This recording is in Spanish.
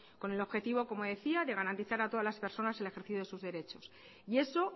con el objetivo como decía de garantizar a todas las personas el ejercicio de sus derechos y eso